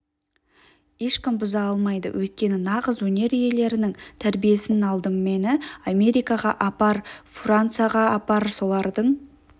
ешкім бұза алмайды өйткені нағыз өнер иелерінің тәрбиесін алдым мені америкаға апар францияға апар солардың